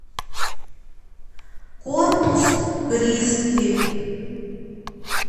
корпус кристи